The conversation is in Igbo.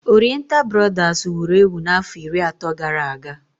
Oriental brodas wuru ewu n'afọ iri atọ gara aga